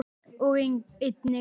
og einnig